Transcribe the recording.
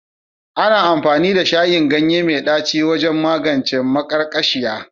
Ana amfani da shayin ganye mai ɗaci wajen magance maƙarƙashiya